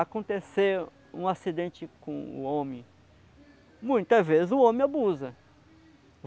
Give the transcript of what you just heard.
Acontecer um acidente com o homem, muitas vezes o homem abusa.